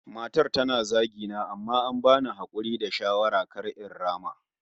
Matar tana zagi na amma an bani hakuri da shawara kar in rama